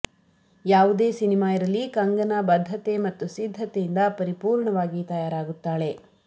ಯಾವುದೇ ಸಿನಿಮಾ ಇರಲಿ ಕಂಗನಾ ಬದ್ಧತೆ ಮತ್ತು ಸಿದ್ದತೆಯಿಂದ ಪರಿಪೂರ್ಣವಾಗಿ ತಯಾರಾಗುತ್ತಾಳೆ